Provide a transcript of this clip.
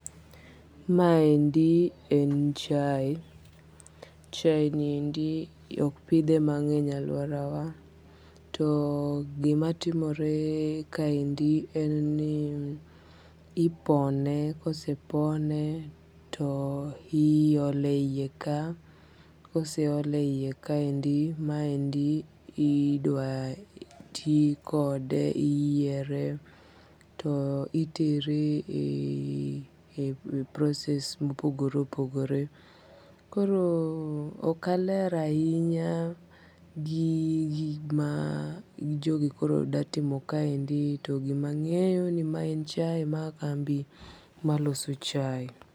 Maendi en chai, chai niendi ok pithe mange'ny e aluorawa, too gimatimore kaendi en ni ipone kosepone toiyole a hiye kaye, kose ole e hiyekaendi maendi idwa ti kode yiere to itere e process mopogore opogore koro okaler ahinya gi gima jogi koro dwa timo kaendi, to gimange'yo ni maendi en kambi maloso chai